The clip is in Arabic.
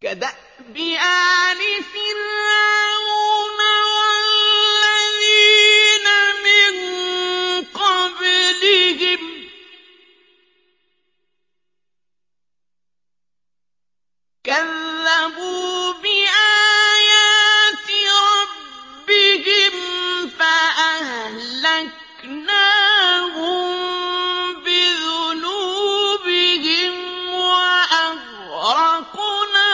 كَدَأْبِ آلِ فِرْعَوْنَ ۙ وَالَّذِينَ مِن قَبْلِهِمْ ۚ كَذَّبُوا بِآيَاتِ رَبِّهِمْ فَأَهْلَكْنَاهُم بِذُنُوبِهِمْ وَأَغْرَقْنَا